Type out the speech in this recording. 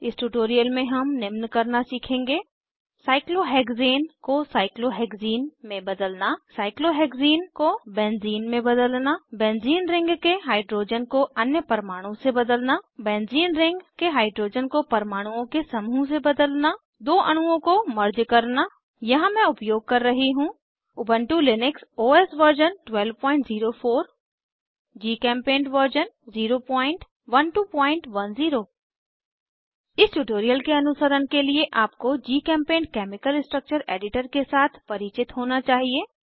इस ट्यूटोरियल में हम निम्न करना सीखेंगे साइक्लोहेक्ज़ेन को साइक्लोहेक्ज़ीन में बदलना साइक्लोहेक्सीन को बेन्ज़ीन में बदलना बेन्ज़ीन रिंग के हाइड्रोजन को अन्य परमाणु से बदलना बेन्ज़ीन रिंग के हाइड्रोजन को परमाणुओं के समूह से बदलना दो अणुओं को मर्ज करना यहाँ मैं उपयोग कर रही हूँ Ubuntu Linux OS version 1204 GChemPaint version 01210 इस ट्यूटोरियल के अनुसरण के लिए आपको जीचेम्पेंट केमिकल स्ट्रक्चर एडिटर के साथ परिचित होना चाहिए